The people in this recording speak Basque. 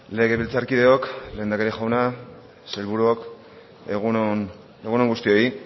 legebiltzarkideok lehendakari jauna sailburuok egun on guztioi